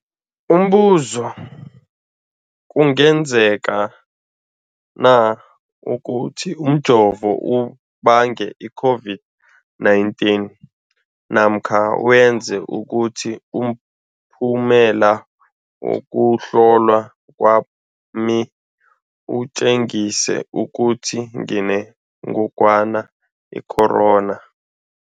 Umbuzo, kungenzekana ukuthi umjovo ubange i-COVID-19 namkha wenze ukuthi umphumela wokuhlolwa kwami utjengise ukuthi nginengogwana i-corona?